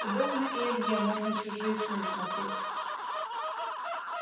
удобно и илье можно чужие сны смотреть